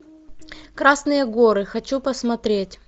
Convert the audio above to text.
красные горы хочу посмотреть